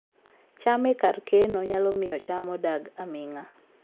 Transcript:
cham e kar keno nyalo miyo cham odag aming'a